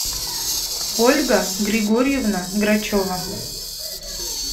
ольга григорьевна грачева